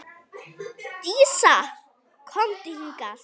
Dísa, komdu hingað!